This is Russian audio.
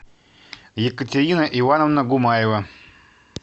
екатерина ивановна гумаева